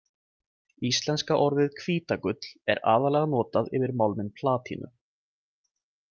Íslenska orðið hvítagull er aðallega notað yfir málminn platínu.